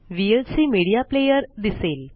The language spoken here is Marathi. व्हीएलसी मीडिया प्लेयर दिसेल